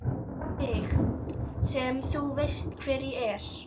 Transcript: Við mig sem þú veist hver er.